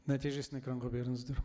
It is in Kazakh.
нәтижесін экранға беріңіздер